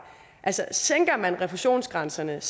altså sænker man refusionsgrænserne